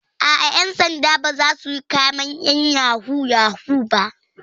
Aa, ƴan sanda ba zasu yi kamen ƴan yahoo yahoo ba